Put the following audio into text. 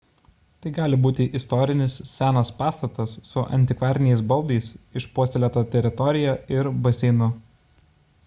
tai gali būti istorinis senas pastatas su antikvariniais baldais išpuoselėta teritorija ir baseinu